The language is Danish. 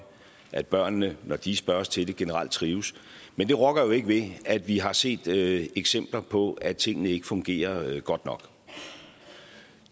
at børnene når de spørges til det generelt trives men det rokker jo ikke ved at vi har set eksempler på at tingene ikke fungerer godt nok